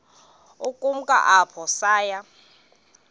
ukumka apho saya